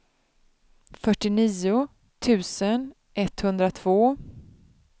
fyrtionio tusen etthundratvå